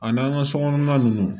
A n'an ka sokɔnɔna ninnu